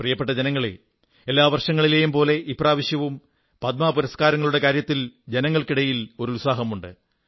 പ്രിയപ്പെട്ട ജനങ്ങളേ എല്ലാ വർഷങ്ങളിലേയും പോലെ ഇപ്രാവശ്യവും പത്്മ പുരസ്കാരങ്ങളടെ കാര്യത്തിൽ ജനങ്ങൾക്കിടയിൽ ഉത്സാഹമുണ്ട്